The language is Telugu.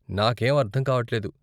నాకేం అర్థం కావట్లేదు.